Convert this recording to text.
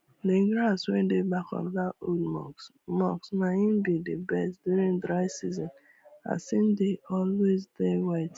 d grass wey dey back of dat old mosque mosque na im be d best during dry season as im dey always dey wet